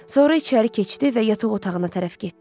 Sonra içəri keçdi və yataq otağına tərəf getdi.